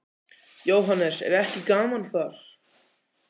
Jóhannes: Er ekki gaman þar?